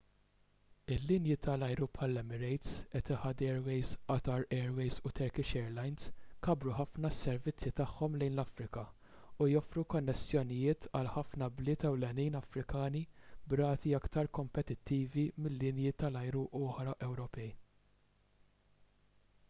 il-linji tal-ajru bħall-emirates etihad airways qatar airways u turkish airlines kabbru ħafna s-servizzi tagħhom lejn l-afrika u joffru konnessjonijiet għal ħafna bliet ewlenin afrikani b'rati aktar kompetittivi minn linji tal-ajru oħra ewropej